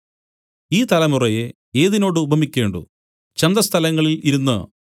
ഈ തലമുറയെ ഏതിനോട് ഉപമിക്കേണ്ടു ചന്തസ്ഥലങ്ങളിൽ ഇരുന്നു